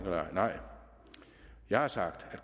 nej nej jeg har sagt at